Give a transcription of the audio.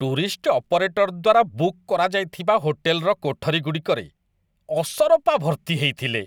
Tourist operator ଦ୍ୱାରା book କରାଯାଇଥିବା ହୋଟେଲର କୋଠରୀଗୁଡ଼ିକରେ ଅସରପା ଭର୍ତ୍ତି ହେଇଥିଲେ।